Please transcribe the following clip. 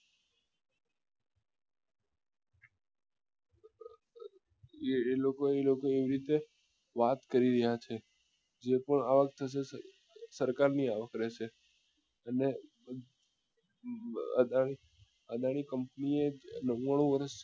એ લોકો એ લોકો એવી રીતે વાત કરી રહ્યા છે જે લોકો આ વખતે સરકાર ની આશરે છે અને અદાની અદાની company એ નવ્વાણું વર્ષ